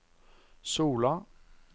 Sola